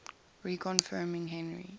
reconfirming henry